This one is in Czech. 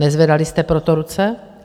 Nezvedali jste pro to ruce?